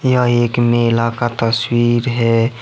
यह एक मेला का तस्वीर है।